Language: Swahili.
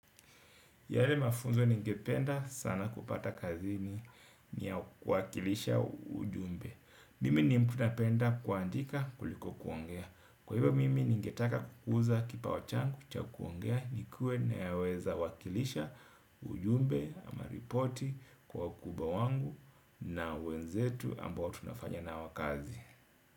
Yale mafunzo ningependa sana kupata kazini ni ya kuwakilisha ujumbe. Mimi ni mtu napenda kuandika kuliko kuongea. Kwa hivyo mimi ningetaka kukuza kipawa changu cha kuongea nikuwe naweza wakilisha ujumbe ama ripoti kwa wakubwa wangu na wenzetu ambao tunafanya nao kazi.